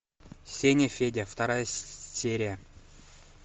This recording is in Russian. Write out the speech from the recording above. сеня федя вторая серия